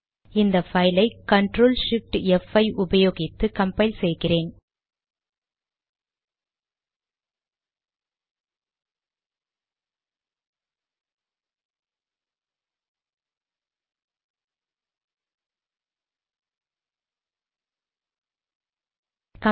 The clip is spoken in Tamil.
இந்த பைல் ஐ CTRL SHIFT ப்5 உபயோகித்து கம்பைல் செய்கிறோம்